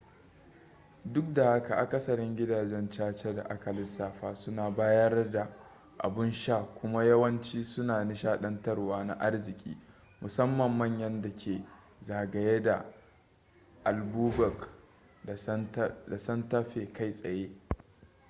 duk da haka akasarin gidajen caca da aka lissafa suna bayar da abun sha kuma yawanci suna nishadantarwa na arziki musamman manyan dake zagaye da albuquerque da santa fe kai tsaye